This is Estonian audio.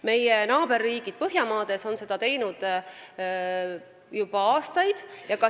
Meie naaberriigid põhjamaad on seda teinud juba aastaid.